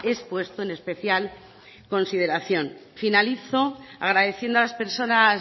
expuesto en especial consideración finalizo agradeciendo a las personas